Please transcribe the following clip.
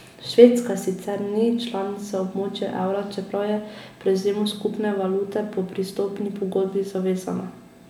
Švedska sicer ni članica območja evra, čeprav je prevzemu skupne valute po pristopni pogodbi zavezana.